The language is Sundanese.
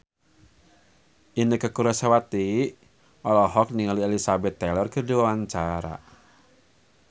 Inneke Koesherawati olohok ningali Elizabeth Taylor keur diwawancara